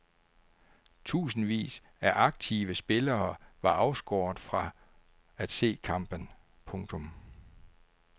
Tusindvis af aktive spillere var afskåret fra se kampen. punktum